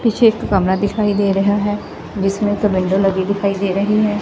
ਪਿੱਛੇ ਇੱਕ ਕਮਰਾ ਦਿਖਾਈ ਦੇ ਰਿਹਾ ਹੈ ਜਿਸਮੇਂ ਦੋ ਵਿੰਡੋ ਲਗੀ ਦਿਖਾਈ ਦੇ ਰਹੀ ਹੈ।